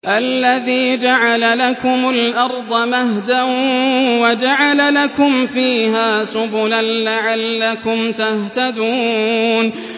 الَّذِي جَعَلَ لَكُمُ الْأَرْضَ مَهْدًا وَجَعَلَ لَكُمْ فِيهَا سُبُلًا لَّعَلَّكُمْ تَهْتَدُونَ